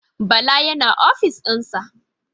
Bala yana ofishin sa.